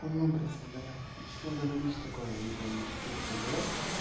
какой образ создавать ты что говоришь такое я не пойму ты что дурак